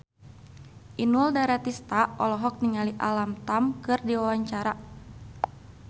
Inul Daratista olohok ningali Alam Tam keur diwawancara